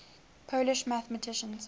polish mathematicians